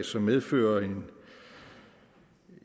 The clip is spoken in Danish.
som medfører